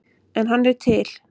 En hann er til.